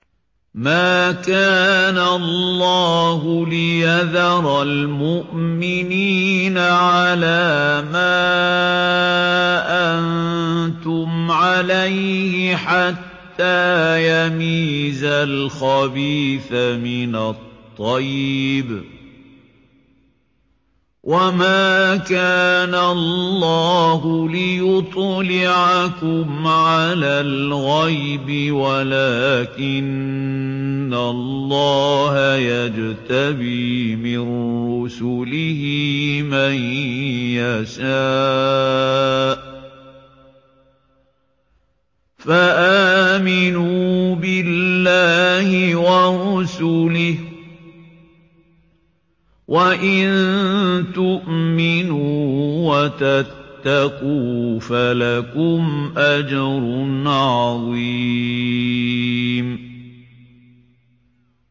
مَّا كَانَ اللَّهُ لِيَذَرَ الْمُؤْمِنِينَ عَلَىٰ مَا أَنتُمْ عَلَيْهِ حَتَّىٰ يَمِيزَ الْخَبِيثَ مِنَ الطَّيِّبِ ۗ وَمَا كَانَ اللَّهُ لِيُطْلِعَكُمْ عَلَى الْغَيْبِ وَلَٰكِنَّ اللَّهَ يَجْتَبِي مِن رُّسُلِهِ مَن يَشَاءُ ۖ فَآمِنُوا بِاللَّهِ وَرُسُلِهِ ۚ وَإِن تُؤْمِنُوا وَتَتَّقُوا فَلَكُمْ أَجْرٌ عَظِيمٌ